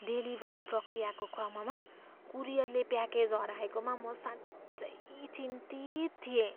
Delivery प्रक्रियाको क्रममा कुरियरले प्याकेज हराएकोमा म साँच्चै चिन्तित थिएँ।